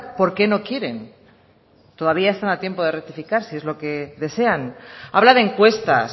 por qué no quieren todavía están a tiempo de rectificar si es lo que desean habla de encuestas